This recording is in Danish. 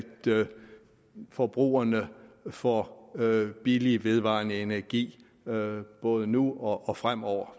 forbrugerne får billig vedvarende energi både nu og fremover